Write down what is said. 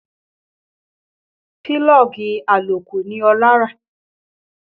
Pílọ́ọ̀gì àlòkù ni Ọlá rà